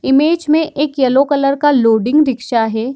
Image में एक yellow colour का लोडिंग रिक्शा है।